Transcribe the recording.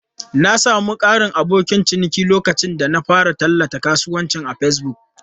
Na sami ƙarin abokan ciniki lokacin da na fara tallan kasuwancin a Facebook.